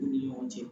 U ni ɲɔgɔn cɛ